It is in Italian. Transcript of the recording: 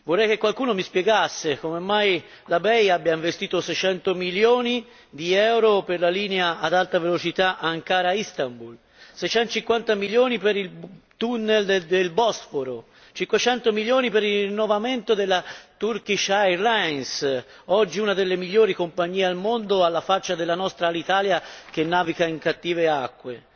Vorrei che qualcuno mi spiegasse come mai la BEI abbia investito 600 milioni di euro per la linea ad alta velocità Ankara Istanbul, 650 milioni per il tunnel del Bosforo, 500 milioni per il rinnovamento della Turkish Airlines, oggi una delle migliori compagnie al mondo alla faccia della nostra Alitalia che naviga in cattive acque.